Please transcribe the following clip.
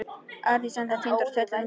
Arndís ennþá týnd og tröllum gefin.